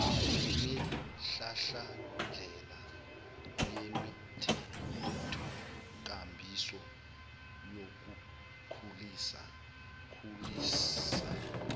nemihlahlandela yemithethonkambiso yokukhulisa